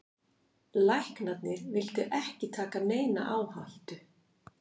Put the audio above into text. Læknarnir vildu ekki taka neina áhættu.